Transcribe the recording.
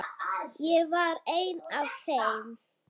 Ég var ein af þeim.